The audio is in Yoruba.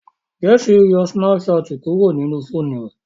Jessy ń yo Snapchat kuro nínú fóònù rẹ.